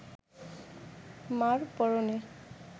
মা’র পরনে